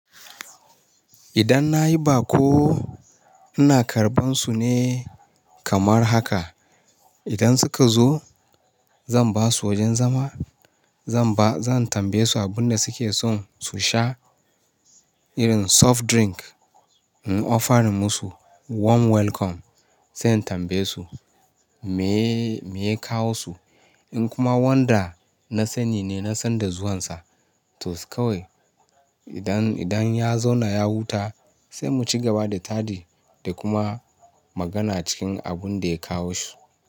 Idan na yi baƙo, ina karɓan su ne kamar haka. Idan suka zo, zan ba su wajen zama, zan tambaye su abin da suke son su sha irin soft drink. In ofarin musu warm welcome, sai in tambaye su me ya kawo su. In kuma wanda na sani ne, na san da zuwan sa, to kawai. Idan ya zauna ya huta, sai mu cigaba da taɗi da kuma magana cikin abun da ya kawo shi.